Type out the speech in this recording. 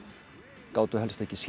gátu helst ekki sýnt